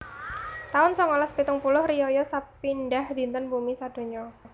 taun songolas pitung puluh Riyaya sepindhah Dinten Bumi Sadonya